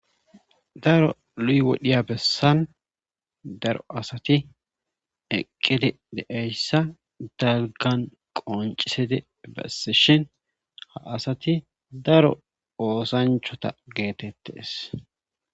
Daro luy wodhiya bessan daro asati eqqidi deeyssa dalgan qoncisede bessishin ha asati daro oosanchota geetettees.